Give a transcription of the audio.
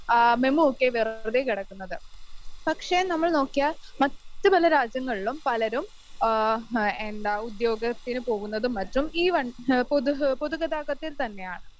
ആ മെമൂ ഒക്കെ വെറുതെ കിടക്കുന്നത്. പക്ഷേ നമ്മൾ നോക്കിയാൽ മറ്റ് പല രാജ്യങ്ങളിലും പലരും ആ എന്താ ഉദ്യോഗത്തിന് പോകുന്നതും മറ്റും ഈ വണ്ടി പൊതുഗതാഗതത്തിൽ തന്നെയാണ്.